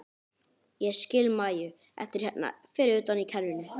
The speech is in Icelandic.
Ég skil Maju eftir hérna fyrir utan í kerrunni.